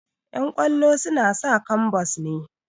Ƴan ƙwallo suna sa kwambas ne